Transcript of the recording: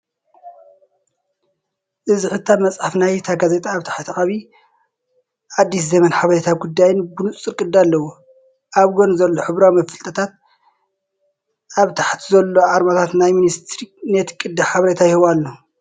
እዚ ሕታም መጽሓፍ ናይታ ጋዜጣ ኣብ ታሕቲ ዓቢ 'ኣዲስ ዘመን' ሓበሬታ ጉዳይን ብንጹር ቅዲ ኣለዎ። ኣብ ጎኒ ዘሎ ሕብራዊ መፈለጥታትን ኣብ ታሕቲ ዘሎ ኣርማታት ናይቲ ሚኒስትሪን ነቲ ቅዲ ሓበሬታ ይህቦ ኣሎ።